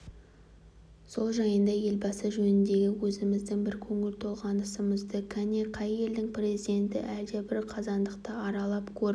сол жайында елбасы жөніндегі өзіміздің бір көңіл толғанысымызда кәне қай елдің президенті әлдебір қазандықты аралап көріп